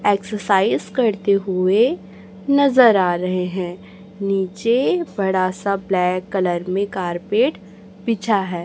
Exercise करते हुए नजर आ रहे हैं नीचे बड़ा सा ब्लैक कलर में कारपेट बिछा है।